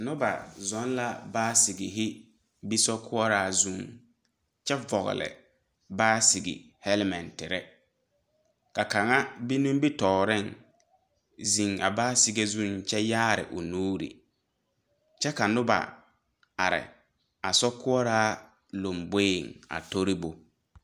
Noba zɔŋ la baasigehi be sokoɔraa zuŋ kyɛ vɔgle baasige hɛlɛmɛnterre ka kaŋa be nimitooreŋ zeŋ a baasige zuiŋ kyɛ yaare o nuure kyɛ ka noba are a sokoɔraa lomboeŋ a toribo.